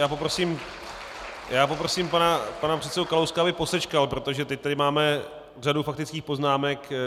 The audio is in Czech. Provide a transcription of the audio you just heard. Já poprosím pana předsedu Kalouska, aby posečkal, protože teď tady máme řadu faktických poznámek.